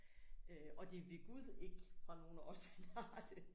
Øh og det ved gud ikke fra nogen af os han har det